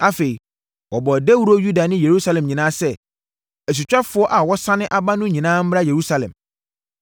Afei, wɔbɔɔ dawuro Yuda ne Yerusalem nyinaa sɛ, asutwafoɔ a wɔasane aba no nyinaa mmra Yerusalem.